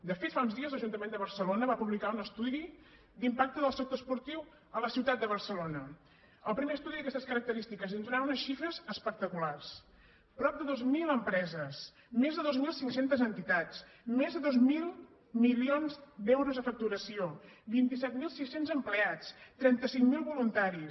de fet fa uns dies l’ajuntament de barcelona va publicar un estudi d’impacte del sector esportiu a la ciutat de barcelona el primer estudi d’aquestes característiques i ens donava unes xifres espectaculars prop de dos mil empreses més de dos mil cinc cents entitats més de dos mil milions d’euros de facturació vint set mil sis cents empleats trenta cinc mil voluntaris